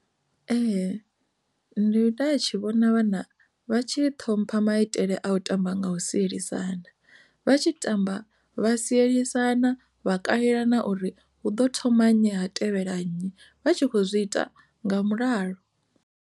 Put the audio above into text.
Ee, nda tshi vhona vhana vha tshi ṱhompha maitele a u tamba nga u sielisana vha tshi tamba vha sielisana vha kalelana uri hu ḓo thoma nnyi ha tevhela nnyi vha tshi kho zwi ita nga mulalo.